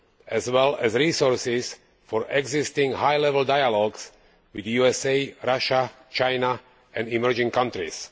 as well as resources for the existing high level dialogues with USA, Russia, China and emerging countries.